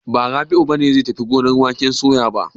Ba, Rabi'u ne zai tafi gonar waken soya ba.